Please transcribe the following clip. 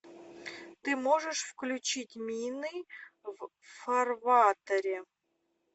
ты можешь включить мины в фарватере